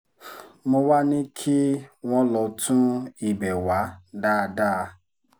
mo wàá ní kí wọ́n lọ́ọ́ tún ibẹ̀ wá dáadáa